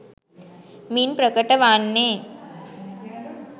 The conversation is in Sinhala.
මින් ප්‍රකට වන්නේ,